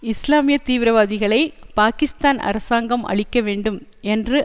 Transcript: இஸ்லாமிய தீவிரவாதிகளை பாகிஸ்தான் அரசாங்கம் அழிக்க வேண்டும் என்று